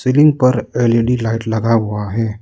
Ceiling पर L E D light लगा हुआ है।